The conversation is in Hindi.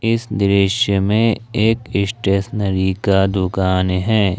इस दृश्य में एक स्टेशनरी का दुकान है।